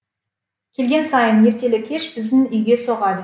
келген сайын ертелі кеш біздің үйге соғады